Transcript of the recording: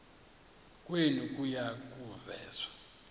kwenu kuya kuveza